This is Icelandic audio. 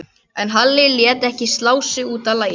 En Halli lét ekki slá sig út af laginu.